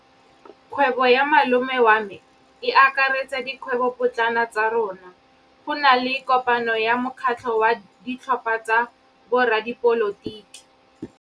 Kgwêbô ya malome wa me e akaretsa dikgwêbôpotlana tsa rona. Go na le kopanô ya mokgatlhô wa ditlhopha tsa boradipolotiki.